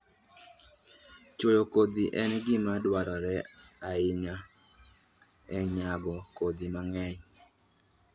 Chwoyo kodhi en gima dwarore ahinya e nyago kodhi mang'eny.